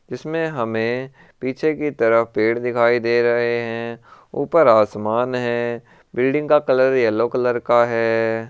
इसमें हमें पीछे की तरफ पेड़ दिखाई दे रहे हैं ऊपर आसमान है बिल्डिंग का कलर येलो कलर का है।